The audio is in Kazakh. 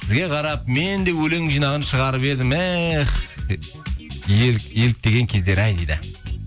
сізге қарап мен де өлең жинағын шығарып едім эх еліктеген кездер ай дейді